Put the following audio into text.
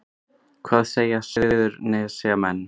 Hvað segja Suðurnesjamenn